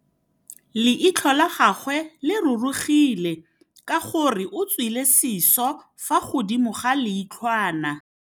Leitlhô la gagwe le rurugile ka gore o tswile sisô fa godimo ga leitlhwana.